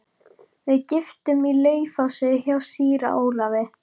Við gistum í Laufási hjá síra Ólafi.